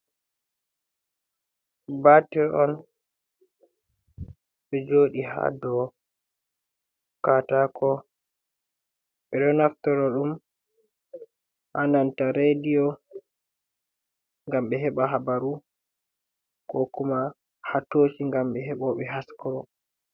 Batir on, ɗo joɗi hado katako, ɓeɗo naftoro ɗum, ananta rediyo ngam ɓe heɓa habaru ko kuma hatoci ngam ɓe heɓoɓe haskoro.